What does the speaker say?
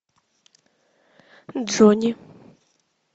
джонни